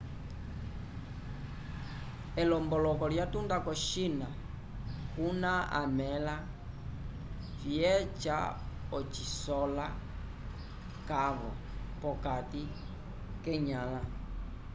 elomboloko lyatunda ko-china kuna amẽla vyeca ocisola cavo p'okati k'enyãla